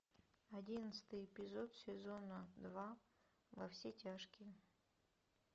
одиннадцатый эпизод сезона два во все тяжкие